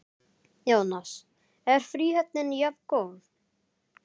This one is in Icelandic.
Jónas: Er fríhöfnin jafngóð?